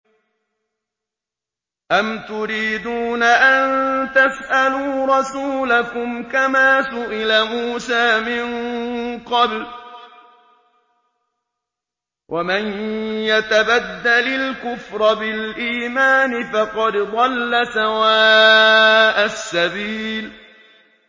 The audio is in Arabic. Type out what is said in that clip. أَمْ تُرِيدُونَ أَن تَسْأَلُوا رَسُولَكُمْ كَمَا سُئِلَ مُوسَىٰ مِن قَبْلُ ۗ وَمَن يَتَبَدَّلِ الْكُفْرَ بِالْإِيمَانِ فَقَدْ ضَلَّ سَوَاءَ السَّبِيلِ